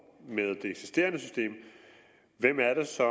med det eksisterende system hvem er det så